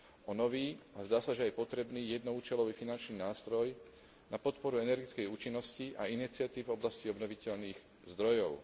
o nový a zdá sa, že aj potrebný, jednoúčelový finančný nástroj na podporu energetickej účinnosti a iniciatív v oblasti obnoviteľných zdrojov.